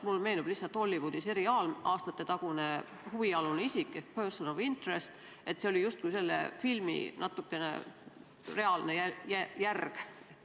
Mulle lihtsalt meenus üks aastatetagune Hollywoodi seriaal "Person of Interest" ja äsja kirjeldatud olukord oli justkui natuke selle filmi reaalne järg.